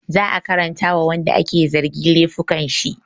Za a karanta wa wanda ake zargi laifukan shi